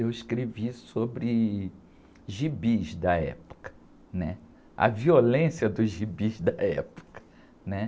Eu escrevi sobre gibis da época, né? A violência dos gibis da época, né?